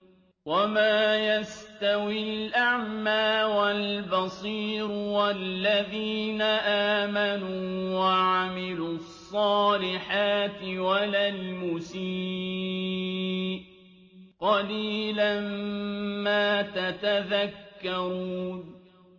وَمَا يَسْتَوِي الْأَعْمَىٰ وَالْبَصِيرُ وَالَّذِينَ آمَنُوا وَعَمِلُوا الصَّالِحَاتِ وَلَا الْمُسِيءُ ۚ قَلِيلًا مَّا تَتَذَكَّرُونَ